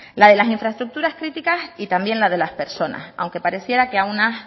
la de las infraestructuras críticas y también la de las personas aunque pareciera que a